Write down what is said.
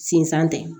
Sinzan tɛ